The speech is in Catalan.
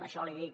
això l’hi dic